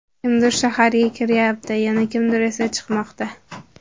Kimdir shaharga kiryapti, yana kimdir esa chiqmoqda.